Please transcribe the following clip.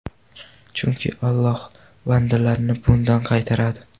Chunki Alloh bandalarini bundan qaytaradi.